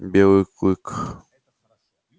белый клык